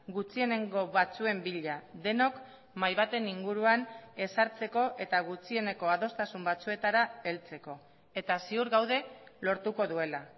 gutxienengo batzuen bila denok mahai baten inguruan ezartzeko eta gutxieneko adostasun batzuetara heltzeko eta ziur gaude lortuko duela